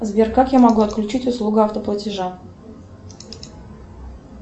сбер как я могу отключить услугу автоплатежа